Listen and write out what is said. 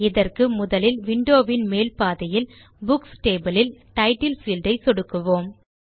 இதற்கு முதலில் விண்டோ வின் மேல் பாதியில் புக்ஸ் டேபிள் இல் டைட்டில் பீல்ட் ஐ சொடுக்குவோம்